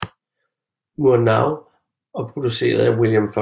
Murnau og produceret af William Fox